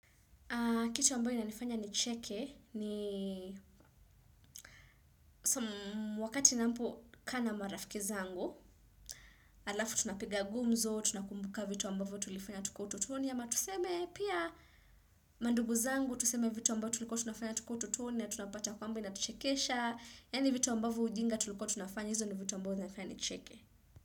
Kitu ambayo inanifanya nicheke ni wakati napokaa na marafiki zangu. Halafu tunapiga gumzo, tunakumbuka vitu ambayo tulifanya tukiwa utotoni ama tuseme pia mandugu zangu. Tuseme vitu ambayo tulikuwa tunafanya tukiwa utotoni na tunapata kwamba inatuchekesha. Yaani vitu ambavyo ujinga tulikuwa tunafanya, hizo ni vitu ambayo zinanifanya nicheke.